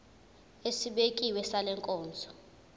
esibekiwe sale nkonzo